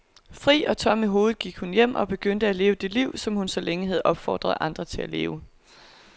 Fri og tom i hovedet gik hun hjem og begyndte at leve det liv, som hun så længe havde opfordret andre til at leve.